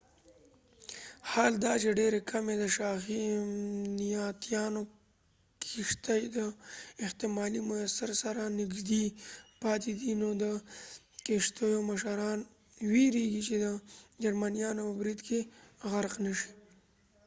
حال دا چې ډیرې کمې د شاهي امنیتیانو کښتۍ د احتمالي مسیر سره نږدې پاتې دي نو د کښتیو مشران ویرېږي چې د جرمنيانو په برید کې غرق نشي